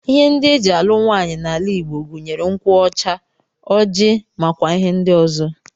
Ihe ndị e ji alụ nwaanyị n'ala Igbo gụnyere nkwụ ọcha, ọjị, nakwa ihe ndị ọzọ